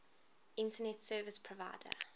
internet service provider